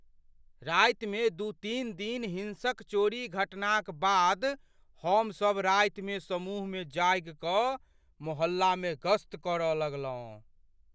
रातिमे दू तीन दिन हिंसक चोरी घटनाक बाद हमसब रातिमे समूहमे जागि कऽ मोहल्लामे गश्त करय लगलहुँ।